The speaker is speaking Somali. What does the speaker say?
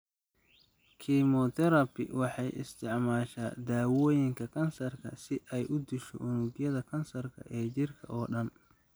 Chemotherapy waxay isticmaashaa daawooyinka kansarka si ay u disho unugyada kansarka ee jirka oo dhan.